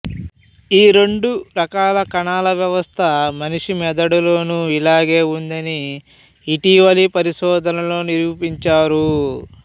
ఈ రెండు రకాల కణాల వ్యవస్థ మనిషి మెదడులోనూ ఇలాగే ఉందని ఇటీవ లి పరిశోధనల్లో నిరూపించారు